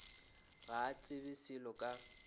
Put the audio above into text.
ga a tsebe selo ka